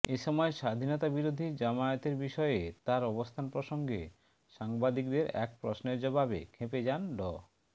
এসময় স্বাধীনতাবিরোধী জামায়াতের বিষয়ে তার অবস্থান প্রসঙ্গে সাংবাদিকদের এক প্রশ্নের জবাবে ক্ষেপে যান ড